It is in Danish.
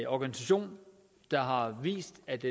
organisation der har vist at